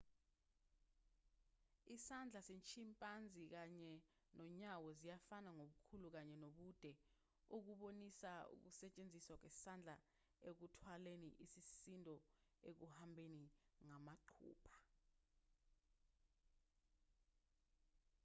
isandla se-chimpanzee kanye nonyawo ziyafana ngobukhulu kanye nobude okubonisa ukusetshenziswa kwesandla ekuthwaleni isisindo ekuhambeni ngamaqupha